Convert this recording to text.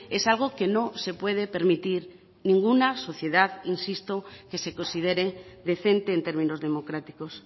es algo que no se puede permitir ninguna sociedad insisto que se considere decente en términos democráticos